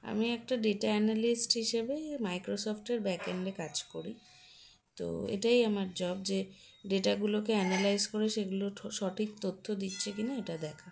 আমি একটা data analyst হিসেবে Microsoft backend -এ কাজ করি তো এটাই আমার job যে data গুলোকে analyse করে সেগুলো ঠ সঠিক তথ্য দিচ্ছে কিনা এটা দেখা